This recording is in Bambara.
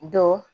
Dɔ